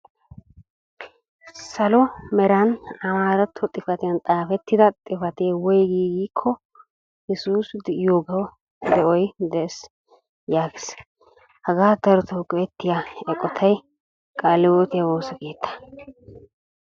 Salo meraan amaaratto xifaatiyaan xaafettida xifatee woygii giiko, yesuusi de'iyoogawu de'oy de'ees yaagees. Hagaa darotoo go'ettiyaa eqotay qaale hiwootiyaa woosa keettaa.